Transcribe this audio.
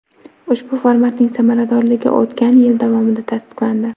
Ushbu formatning samaradorligi o‘tgan yil davomida tasdiqlandi.